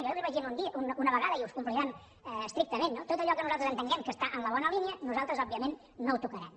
jo ja li ho vaig una vegada i ho complirem estrictament no tot allò que nosaltres entenguem que està en la bona línia nosaltres òbviament no ho tocarem